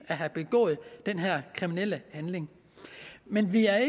at have begået den her kriminelle handling men vi er